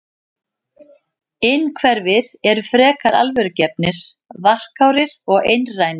Innhverfir eru frekar alvörugefnir, varkárir og einrænir.